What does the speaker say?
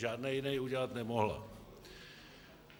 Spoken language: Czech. Žádný jiný udělat nemohla.